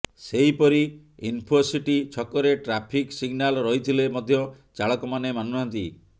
ସେହିପରି ଇନ୍ଫୋସିଟି ଛକରେ traffic signal ରହିଥିଲେ ମଧ୍ୟ ଚାଳକମାନେ ମାନୁନାହାନ୍ତି